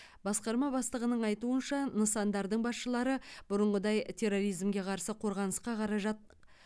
басқарма бастығының айтуынша нысандардың басшылары бұрынғыдай терроризмге қарсы қорғанысқа қаражат